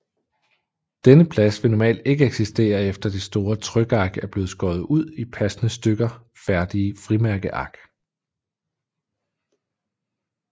Denne plads vil normalt ikke eksistere efter det store trykark er blevet skåret ud i passende stykker færdige frimærkeark